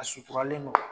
A suturalen don